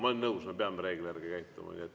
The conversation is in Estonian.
Ma olen nõus, me peame reegli järgi käituma.